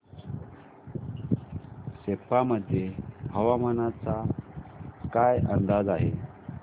सेप्पा मध्ये हवामानाचा काय अंदाज आहे